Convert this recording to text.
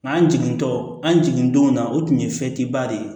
Nka an jigintɔ an jigin don na o tun ye de ye